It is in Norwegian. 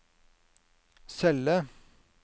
celle